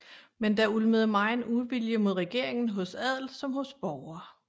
Men der ulmede megen uvilje mod regeringen hos adel som hos borgere